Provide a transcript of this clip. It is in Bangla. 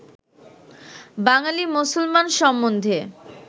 বাঙালী মুসলমান সম্বন্ধে